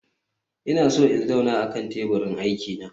Ina so in zauna akan teburin aiki na